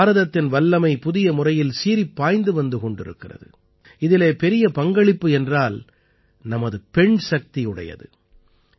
இன்று பாரதத்தின் வல்லமை புதிய முறையில் சீறிப்பாய்ந்து வந்து கொண்டிருக்கிறது இதிலே பெரிய பங்களிப்பு என்றால் நமது பெண்சக்தியுடையது